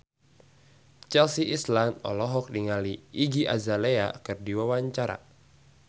Chelsea Islan olohok ningali Iggy Azalea keur diwawancara